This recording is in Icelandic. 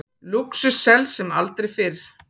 Lúxus selst sem aldrei fyrr